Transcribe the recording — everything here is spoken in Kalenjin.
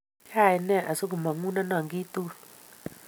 Kaine asigomangunenon kiy tugul?